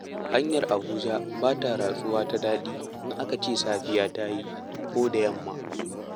Hanyar Abuja ba ta ratsuwa ta daɗi in aka ce safiya ta yi ko da yamma.